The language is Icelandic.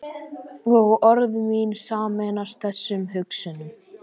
Og orð mín sameinast þessum hugsunum.